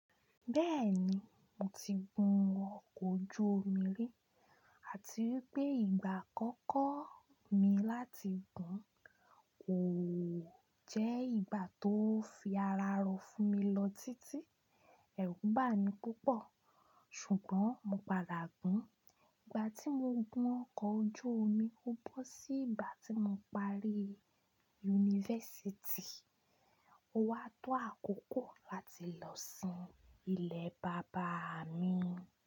Bẹ́ẹ̀ni, mo ti gun ọkọ̀ ojú omi rí àti wípé ìgbà àkọ́kọ́ mi láti gùn kò jẹ́ ìgbà tó fi ara rò fún mi lọ títí. Ẹ̀rù bà mí púpọ̀, ṣùgbọ́n mo padà gùn. Ìgbà tí mo gun ọkọ̀ ojú omi, ó bọ́ sí ìgbà tí mo parí yunifásítì. Ó wá tó àkókò láti lọ sin ilé bàbá mi.